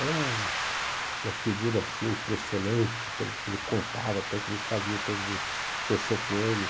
Era um uma figura assim, impressionante pelo o que ele contava, pelo o que ele fazia, pelo o que aconteceu com ele.